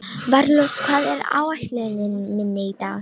Valrós, hvað er á áætluninni minni í dag?